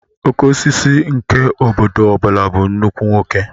Okeosisi nke obodo ọbula bụ nnukwu nwoke